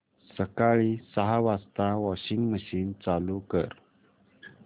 सकाळी सहा वाजता वॉशिंग मशीन चालू कर